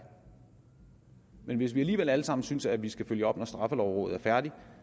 men hvis vi alligevel alle sammen synes at vi skal følge op når straffelovrådet færdig